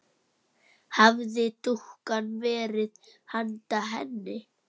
Hafði dúkkan verið handa henni?